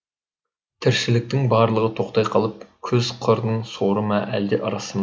тіршіліктің барлығы тоқтай қалып күз қырдың соры ма әлде ырысы ма